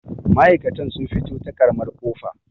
ma'aikata sun fito ta ƙaramar ƙofa